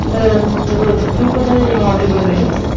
তু কোথায় মাধ্যমিক পরীক্ষা দিয়েছিলি